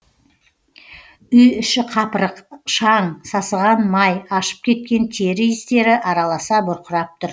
үй іші қапырық шаң сасыған май ашып кеткен тері иістері араласа бұрқырап тұр